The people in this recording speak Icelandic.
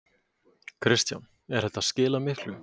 Kristján: Er þetta að skila miklu?